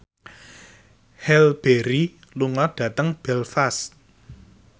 Halle Berry lunga dhateng Belfast